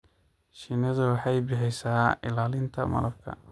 Shinnidu waxay bixisaa ilaalinta malabka.